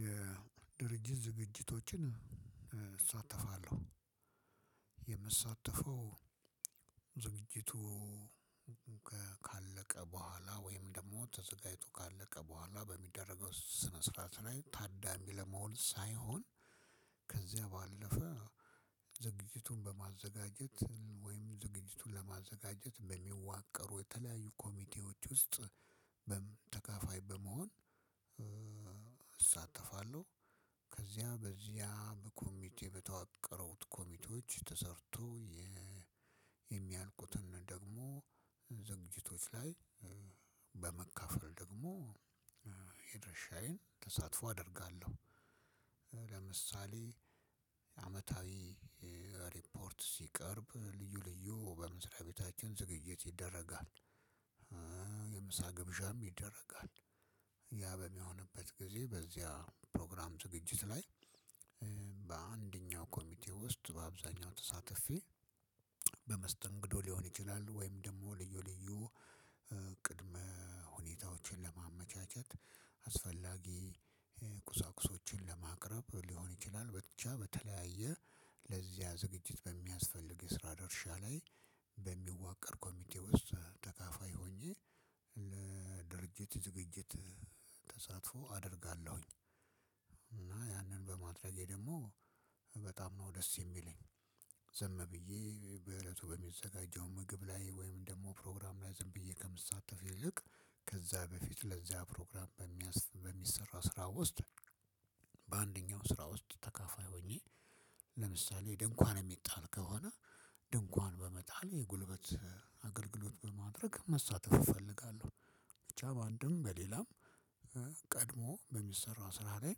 የድርጅት ዝግጅቶችን እሳተፋለው የምሳተፋው ዝግጅቱ ከለቀ በኋለ ወይም ደግሞ ተዘጋጅቶ ከለቀ በኋለ በሚደረገው ስነስርዓት ለይ ተደም ለመሆን ሰይሆን ባለፈ ዝግጅቱን በማዘጋጀት ወይም ዝግጅቱን ለማዘጋጀት በሚዋቀሩ የተለያዩ ኮሚቴዎች ውስጥ ተካፋይ በመሆን እሳተፋለሁ ከዚያ በዚያ በኮሚቴ በተዋቀሩት ኮሚቴዎች ተሰርቶ የሚያልቁትን ደግሞ ዝግጅቶች ላይ በመካፈል ደግሞ የድርሻዬን ተሳትፎ አደርጋለሁ ለምሳሌ አመታዊ ሪፖርት ሲቀርብ ልዩ ልዩ በምድራቤታችን ዝግጅት ይደረጋል የምሳ ግብዣም ይደረጋል ያ በሚሆንበት ጊዜ በዚያ ፕሮግራም ዝግጅት ላይ በአንደኛው ኮሚቴ ውስጥ በአብዛኛው ተሳትፌ በመስተንግዶ ሊሆን ይችላል ወይም ደግሞ ልዩ ልዩ ቅድመ ሁኔታዎችን ለማመቻቸት አስፈላጊ ቁሳቁሶችን ለማቅረብ ሊሆን ይችላል ብቻ በተለያየ ለዚያ ዝግጅት በሚያስፈልግ የስራ ደርሻ ላይ በሚዋቀር ኮሚቴ ውስጥ ተካፋይ ሆኜ ለድርጅት ዝግጅት ተሳትፎ አደርጋለሁኝ እና የንን በማድረጌ ደሞ በጣም ነው ደስ የሚለኝ ዝም ብዬ በእለቱ በሚዘጋጀው ምግብ ለይ ወይም ደግሞ ፕሮግራም ለይ ዝም ብዬ ከሚሳተፍ ይልቅ ከዚያ በፊት ለዚያ ፕሮግራም በሚሠራ ስራ ውስጥ በአንደኛው ስራ ውስጥ ተከፋይ ሆኜ ለምሳሌ ድንኳን የሚጣል ከሆነ ድንኳን በመጣል የጉልበት አገልግሎት በማድረግ መሳተፍ እፈልጋለሁ ብቻ በአንድም በሌላም ቀድሞ በሚሠራው ስራ ለይ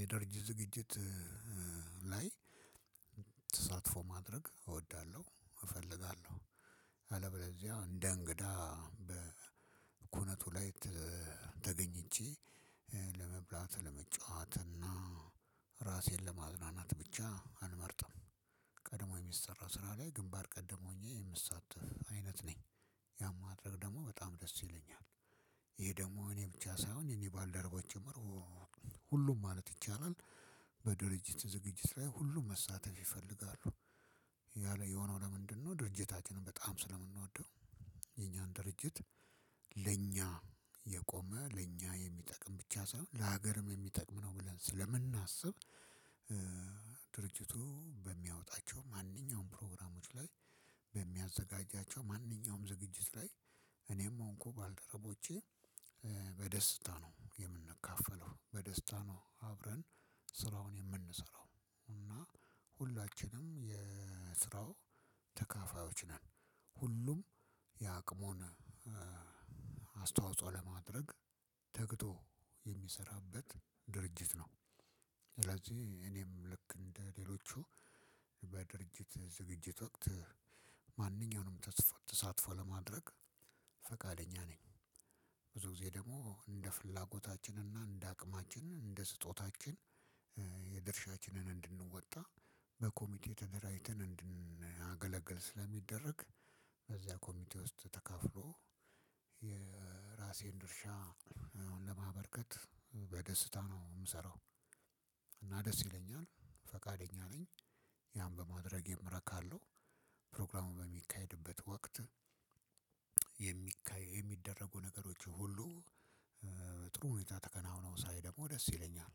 የድርጅት ዝግጅት ለይ ተሳትፎ ማድረግ እወዳለሁ እፈልጋለሁ አለበለዚያ እንደ እንግዳ በኩነቱ ላይ ተገኝቼ ለመብላት ለመጫወት እና ራሴን ለማዝናናት ብቻ አልመርጥም ቀድሞ የሚሰራው ስራ ላይ ግንባር ቀደም ሆኜ የምሳተፍ አይነት ነኝ ያን ማድረግ ደግሞ በጣም ደስ ይለኛል ይሄ ደግሞ እኔ ብቻ ሳይሆን የኔ ባልደረቦች ጭምር ሁሉም ማለት ይቻላል በድርጅት ዝግጅት ላይ ሁሉም መሳተፍ ይፈልጋሉ። ያለ የሆነው ለምንድነው ድርጅታችንን በጣም ስለምንወደው የኛን ድርጅት ለኛ የቆመ ለኛ የሚጠቅም ብቻ ሳይሆን ለሀገርም የሚጠቅም ነው ብለን ስለምናስብ ድርጅቱ በሚያወጣቸው ማንኛውም ፕሮግራሞች ላይ በሚያዘጋጃቸው ማንኛውም ዝግጅት ላይ እኔም ሆንኩ ባልደረቦቼ በደስታ ነው የምንከፋፈለው በደስታ ነው አብረን ስራውን የምንሰራው እና ሁላችንም የስራው ተካፋዮች ነን። ሁሉም የአቅሙን አስተዋጽኦ ለማድረግ ተግቶ የሚሰራበት ድርጅት ነው። ስለዚህ እኔም ልክ እንደሌሎቹ በድርጅት ዝግጅት ወቅት ማንኛውንም ተሳትፎ ለማድረግ ፈቃደኛ ነኝ ብዙ ጊዜ ደግሞ እንደ ፍላጎታችን እና እንደ አቅማችን እንደ ስጦታችን የድርሻችንን እንድንወጣ በኮሚቴ ተደራጅተን እንድናገለግል ስለሚደረግ በዚያ ኮሚቴ ውስጥ ተካፍሎ የራሴን ድርሻ አሁን ለማበርከት በደስታ ነው ምሰራው። እና ደስ ይለኛል ፈቃደኛ ነኝ ያን በማድረጌ እረካአለው። ፕሮግራሙ በሚካሄድበት ወቅት የሚደረጉ ነገሮች ሁሉ ጥሩ ሁኔታ ተከናውኖ ሰይ ደግሞ ደስ ይለኛል።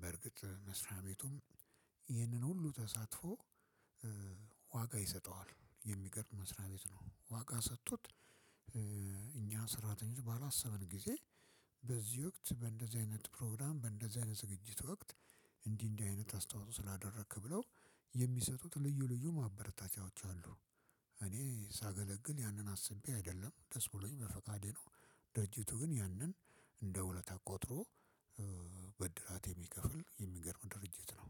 በርግጥ መስሪያ ቤቱም ይህንን ሁሉ ተሳትፎ ዋጋ ይሰጠዋ። የሚገርም መስሪያ ቤት ነው። ዋጋ ሰጥቶት እኛ ሰራተኞች ባላሰብን ጊዜ በዚህ ወቅት በእንደዚህ አይነት ፕሮግራም በእንደዚህ አይነት ዝግጅት ወቅት እንዲህ እንዲህ አይነት አስተዋጽኦ ስላደረክ ብለው የሚሰጡት ልዩ ልዩ ማበረታቻዎች አሉ። እኔ ሳገለግል ያንን አስቤ አይደለም ደስ ብሎኝ በፈቃዴ ነው ድርጅቱ ግን ያንን እንደ ውለታ ቆጥሮ ብድራቴ የሚከፍል የሚገርም ድርጅት ነው።